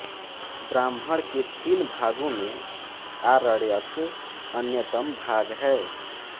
ब्राह्मण के तीन भागों में आरण्यक अन्यतम भाग है